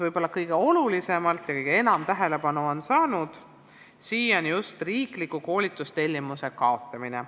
Võib-olla kõige enam tähelepanu on siiani saanud just riikliku koolitustellimuse kaotamine.